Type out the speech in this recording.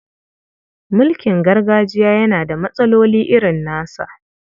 Mulkin gargajiya yana da matsaloli irin nasa.